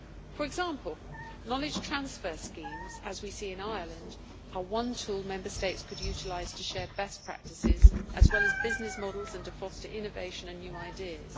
For example, knowledge transfer schemes as we see in Ireland are one tool Member States could utilise to share best practices, as well as business models and to foster innovation and new ideas.